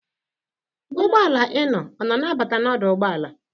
Ụgbọala ị nọ ọ na-abata n'odụ ụgbọala?